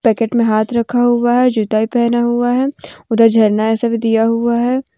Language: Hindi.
पैकेट में हाथ रखा हुआ है जूता भी पहना हुआ है उधर झरना ये सब दिया हुआ है।